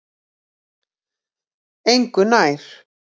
Engu nær